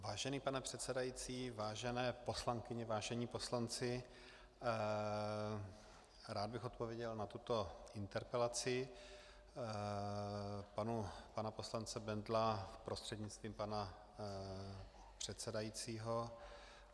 Vážený pane předsedající, vážené poslankyně, vážení poslanci, rád bych odpověděl na tuto interpelaci pana poslance Bendla prostřednictvím pana předsedajícího.